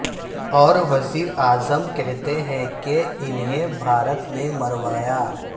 اور وزیراعظم کہتے ہیں کہ انہیں بھارت نے مروایا